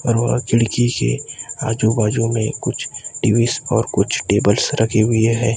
और वह खिड़की के आजू बाजू में कुछ टिविस और कुछ टेबल्स रखे हुए हैं।